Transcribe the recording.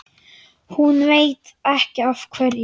Hún veit ekki af hverju.